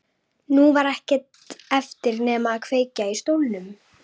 Nú var ekkert eftir nema að kveikja í stólnum.